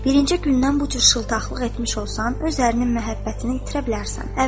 Birinci gündən bu cür şıltaqlıq etmiş olsan, öz əhlinin məhəbbətini itirə bilərsən.